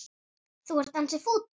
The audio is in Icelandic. Þú ert ansi fúll.